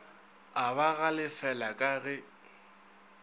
a ba galefela ka ge